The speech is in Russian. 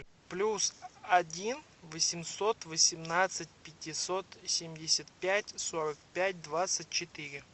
плюс один восемьсот восемнадцать пятьсот семьдесят пять сорок пять двадцать четыре